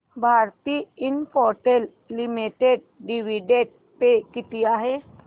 Bharti Infratel limited dividend pay किती आहे